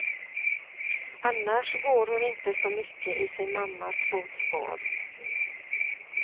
Annars går hon inte så mycket i sin mammas fotspår.